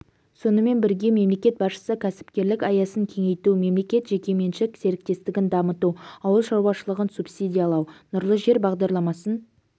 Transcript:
сонымен бірге мемлекет басшысы кәсіпкерлік аясын кеңейту мемлекет-жекеменшік серіктестігін дамыту ауыл шаруашылығын субсидиялау нұрлы жер бағдарламасын